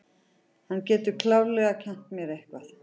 Hann getur klárlega kennt mér eitthvað.